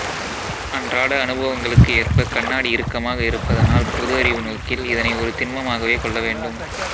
அன்றாட அனுபவங்களுக்கு ஏற்பக் கண்ணாடி இறுக்கமாக இருபதனால் பொது அறிவு நோக்கில் இதனை ஒரு திண்மமாகவே கொள்ள வேண்டும்